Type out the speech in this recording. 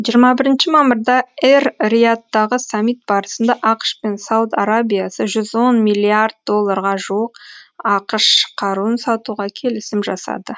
жиырма бірінші мамырда эр риядтағы саммит барысында ақш пен сауд арабиясы жүз он миллиард долларға жуық ақш қаруын сатуға келісім жасады